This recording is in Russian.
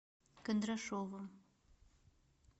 кондрашовым